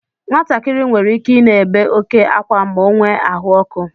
Nwatakịrị nwere ike I na-ébé oke ákwa ma o nwee ahụ ọkụ.